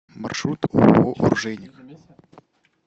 маршрут ооо оружейник